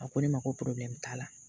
A ko ne ma ko t'a la